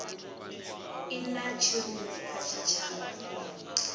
i na tshirunzi kha tshitshavha